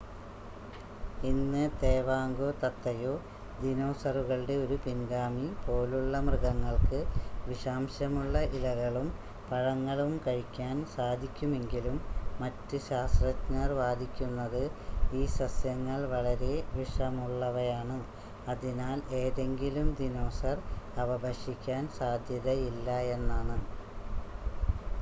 ഇന്ന് തേവാങ്കോ തത്തയോ ദിനോസറുകളുടെ ഒരു പിൻഗാമി പോലുള്ള മൃഗങ്ങൾക്ക് വിഷാംശമുള്ള ഇലകളും പഴങ്ങളും കഴിക്കാൻ സാധിക്കുമെങ്കിലും മറ്റ് ശാസ്ത്രജ്ഞർ വാദിക്കുന്നത് ഈ സസ്യങ്ങൾ വളരെ വിഷമുള്ളവയാണ് അതിനാൽ ഏതെങ്കിലും ദിനോസർ അവ ഭക്ഷിക്കാൻ സാധ്യതയില്ലയെന്നാണ്